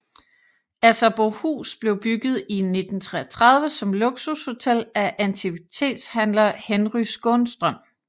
Asserbohus blev bygget i 1933 som luksushotel af antikvitetshandler Henry Skånstrøm